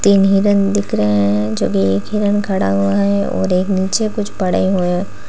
तीन हिरन दिख रहे हैं जो की एक हिरन खड़ा हुआ है और एक नीचे कुछ पड़े हुए हैं।